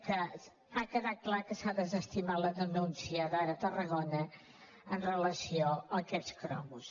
que ha quedat clar que s’ha desestimat la denúncia d’ara tarragona amb relació a aquests cromos